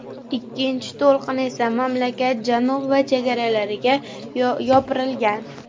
Ikkinchi to‘lqin esa mamlakat janubi va chegaralariga yopirilgan.